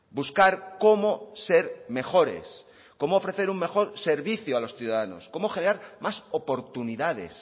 buscar cómo ser mejores cómo ofrecer un mejor servicio a los ciudadanos cómo generar más oportunidades